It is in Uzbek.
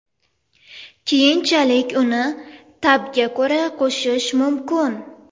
Keyinchalik uni ta’bga ko‘ra qo‘shish mumkin.